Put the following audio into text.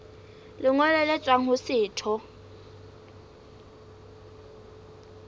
lengolo le tswang ho setho